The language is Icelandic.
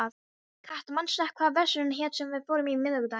Kata, manstu hvað verslunin hét sem við fórum í á miðvikudaginn?